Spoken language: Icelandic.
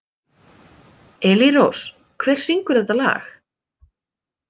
Elírós, hver syngur þetta lag?